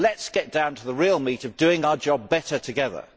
Let us get down to the real meat of doing our job better together.